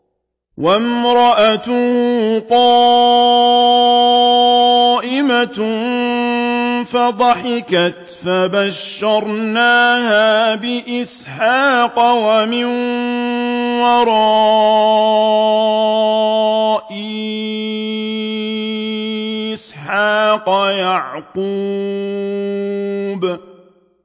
وَامْرَأَتُهُ قَائِمَةٌ فَضَحِكَتْ فَبَشَّرْنَاهَا بِإِسْحَاقَ وَمِن وَرَاءِ إِسْحَاقَ يَعْقُوبَ